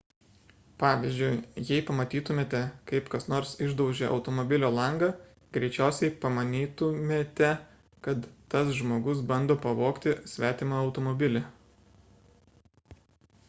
pavyzdžiui jei pamatytumėte kaip kas nors išdaužia automobilio langą greičiausiai pamanytumėte kad tas žmogus bando pavogti svetimą automobilį